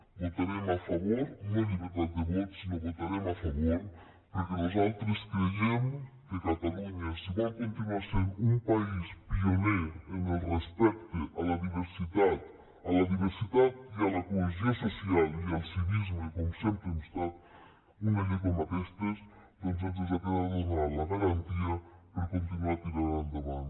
votarem a favor no llibertat de vot sinó votarem a favor perquè nosaltres creiem que catalunya si vol continuar sent un país pioner en el respecte a la diversitat a la diversitat i a la cohesió social i al civisme com sempre hem estat una llei com aquesta doncs ens ha de donar la garantia per continuar tirant endavant